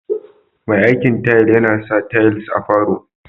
Me aikin tayal yana sa tayals a falo